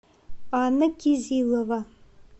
анна кизилова